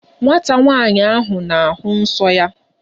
Nwata nwaanyị ahụ na-ahụ nsọ ya.